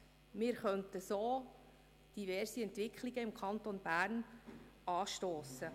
Wir könnten so diverse Entwicklungen im Kanton Bern anstossen.